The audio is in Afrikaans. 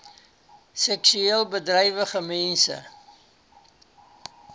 seksueel bedrywige mense